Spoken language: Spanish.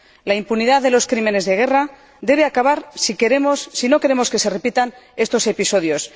La impunidad de los crímenes de guerra debe acabar si no queremos que se repitan estos episodios.